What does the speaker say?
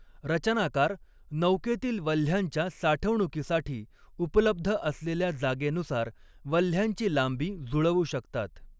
रचनाकार नौकेतील वल्हयांच्या साठवणुकीसाठी उपलब्ध असलेल्या जागेनुसार वल्हयांची लांबी जुळवू शकतात.